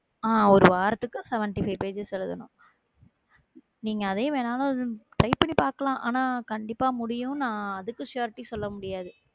அஹ் ஒரு வாரத்துக்கு வந்து seventy-five pages எழுதணும் நீங்க அதையும் வேணாம் உம் try பண்ணி பார்க்கலாம். ஆனா, கண்டிப்பா முடியும் நான் அதுக்கு surety சொல்ல முடியாது